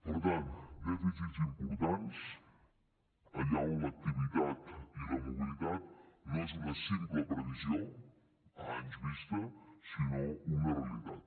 per tant dèficits importants allà on l’activitat i la mobilitat no és una simple previsió a anys vista sinó una realitat